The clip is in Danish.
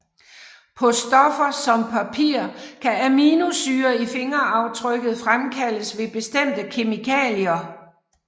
På stoffer som papir kan aminosyrer i fingeraftrykket fremkaldes med bestemte kemikalier